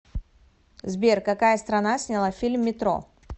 сбер какая страна сняла фильм метро